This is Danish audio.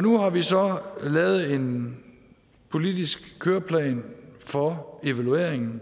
nu har vi så lavet en politisk køreplan for evalueringen